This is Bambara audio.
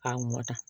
A mɔta